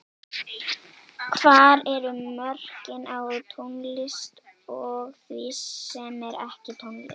Hvar eru mörkin á tónlist og því sem er ekki tónlist?